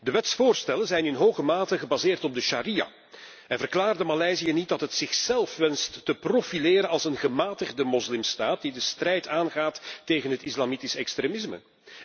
De wetsvoorstellen zijn in hoge mate gebaseerd op de sharia. En verklaarde Maleisië niet dat het zichzelf wenst te profileren als een gematigde moslimstaat die de strijd aangaat tegen het islamitische extremisme?